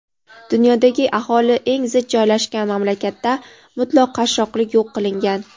dunyodagi aholi eng zich joylashgan mamlakatda mutlaq qashshoqlik yo‘q qilingan.